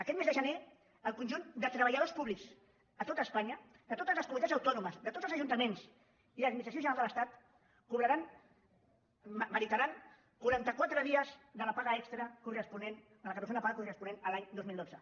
aquest mes de gener el conjunt de treballadors públics a tot espanya de totes les comunitats autònomes de tots els ajuntaments i de l’administració general de l’estat cobraran merita·ran quaranta·quatre dies de la paga extra de la cator·zena paga corresponent a l’any dos mil dotze